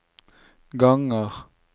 ganger